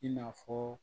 I n'a fɔ